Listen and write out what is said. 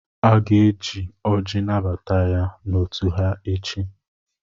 Aga-eji ọ́jị́ anabata ya n'òtù ha echi.